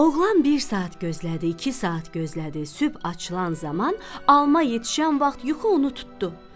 Oğlan bir saat gözlədi, iki saat gözlədi, sübh açılan zaman alma yetişən vaxt yuxu onu tutdu.